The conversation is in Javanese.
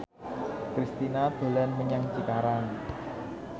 Kristina dolan menyang Cikarang